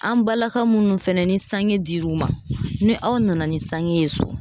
An balaka munnu fɛnɛ ni sange dil'u ma ni aw nana ni sange ye so